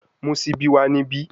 Mu sibi wa nibi